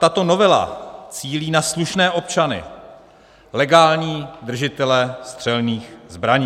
Tato novela cílí na slušné občany, legální držitele střelných zbraní.